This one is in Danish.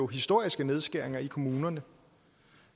historiske nedskæringer i kommunerne